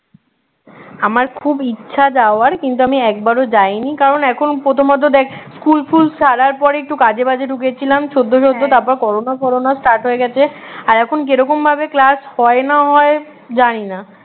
আমার খুব ইচ্ছা যাওয়ার কিন্তু আমি একবারও যাইনি কারণ এখন প্রথমত দেখ স্কুল ফুল ছাড়ার পরে একটু কাজে বাজে ঢুকেছিলাম সদ্য সদ্য তারপর করোনা ফরোনা start হয়ে গেছে আর এখন কিরকম ভাবে class হয় না হয় জানি না